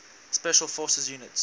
special forces units